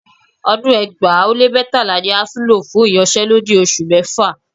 Ọdún ẹgbàá ó lé mẹ́tàlá ni ASUU lọ fún ìyanṣẹ́lódì oṣù mẹ́fà